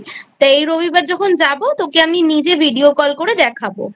তা এই রবিবার যখন যাব তোকে আমি নিজে Video Call করে দেখাব।